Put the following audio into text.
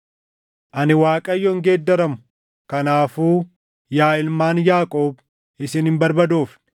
“Ani Waaqayyo hin geeddaramu. Kanaafuu yaa ilmaan Yaaqoob isin hin barbadoofne.